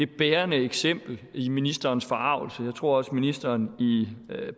bærende eksempel i ministerens forargelse jeg tror også at ministeren i